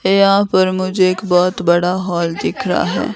यहां पर मुझे एक बहुत बड़ा हॉल दिख रहा है।